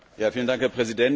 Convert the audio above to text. Herr Präsident!